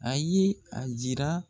A ye a jira